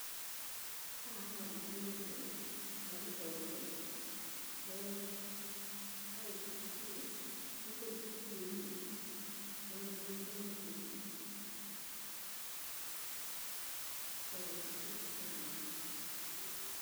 Haha haroneka nĩ andũ a rũhonge rwa ICT me kũndũ cukuru-inĩ, maroneka nĩkuo mathiĩte gũcera cukuru burani.